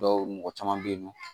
Dɔw mɔgɔ caman bɛ yen nɔ